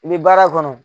I bɛ baara kɔnɔ